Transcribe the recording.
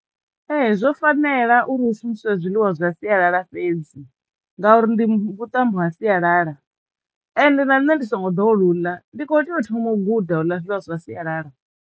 Ee zwo fanela uri hu shumiswe zwiḽiwa zwa sialala fhedzi ngauri ndi vhuṱambo ha sialala ende na nṋe ndi songo ḓowela u ḽa ndi khou teya u thoma u guda u ḽa zwiḽiwa zwa sialala.